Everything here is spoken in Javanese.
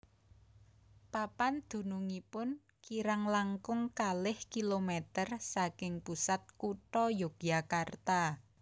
Papan dunungipun kirang langkung kalih kilometer saking pusat kutha Yogyakarta